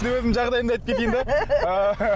мен өзімнің жағдайымды айтып кетейін бе